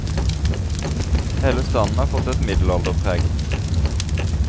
Hele standen har fått et middelalderpreg.